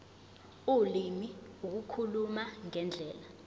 ulimi ukukhuluma ngendlela